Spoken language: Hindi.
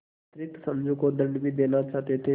अतिरिक्त समझू को दंड भी देना चाहते थे